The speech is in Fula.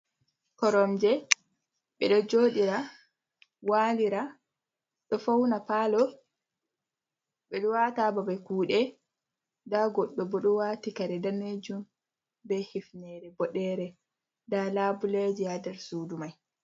Koromje bedo jodira walira do fauna palo, bedo watababe kude da goddo bodo wati kare danejum be hifnere bodere da labuleji hader sudu mai.